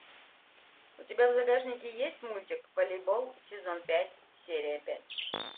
у тебя в загашнике есть мультик волейбол сезон пять серия пять